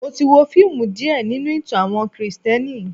Mo ti wo fíìmù díè nínú ìtàn àwọn Kristẹni.